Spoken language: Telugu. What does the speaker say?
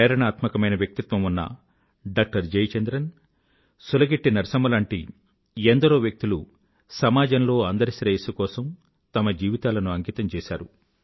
ప్రేరణాత్మకమైన వ్యక్తిత్వం ఉన్న డాక్టర్ జయ చంద్రన్ సులగిట్టి నరసమ్మ లాంటి ఎందరో వ్యక్తులు సమాజంలో అందరి శ్రేయస్సు కోసం తమ జీవితాలను అంకితం చేసారు